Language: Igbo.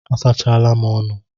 A sachala m ọnụ.